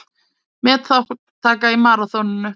Metþátttaka í maraþoninu